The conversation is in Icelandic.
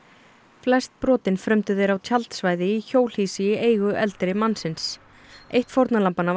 flest brotin frömdu þeir á tjaldsvæði í hjólhýsi í eigu eldri mannsins eitt fórnarlambanna var